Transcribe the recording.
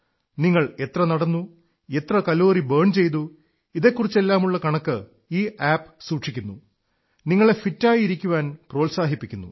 നിങ്ങൾ എത്ര നടന്നു എത്ര കലോറി ബേൺ ചെയ്തു ഇതെക്കുറിച്ചെല്ലാമുള്ള കണക്ക് ഈ ആപ് സൂക്ഷിക്കുന്നു നിങ്ങളെ ഫിറ്റായി ഇരിക്കാൻ പ്രോത്സാഹിപ്പിക്കുന്നു